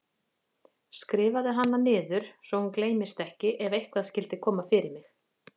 Skrifaðu hana niður svo hún gleymist ekki ef eitthvað skyldi koma fyrir mig.